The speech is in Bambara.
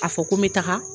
A fɔ ko n bɛ taga